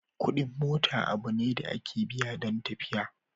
Kuɗin mota abu ne da ake biya don tafiya.